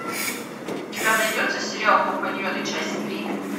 у тебя найдется сериал компаньоны часть три